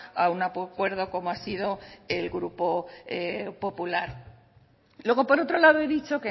a un acuerdo como ha sido el grupo popular luego por otro lado he dicho